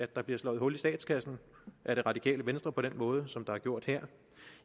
der bliver slået hul i statskassen af det radikale venstre på den måde som det er gjort her